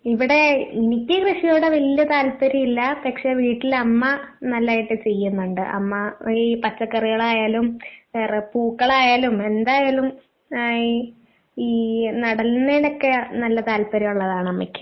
ഇവിടെ എനിക്ക് കൃഷിയോട് വല്യ താൽപ്പര്യമില്ല പക്ഷെ വീട്ടില് അമ്മ നല്ലായിട്ട് ചെയ്യുന്നുണ്ട് അമ്മ ഈ പച്ചക്കറികളായാലും ഏയ് റേ പൂക്കളായാലും എന്തായാലും ഏഹ് ഈ ഈ നടുന്നേനൊക്കെ നല്ല താൽപ്പര്യമുള്ളതാണ് അമ്മയ്ക്ക്.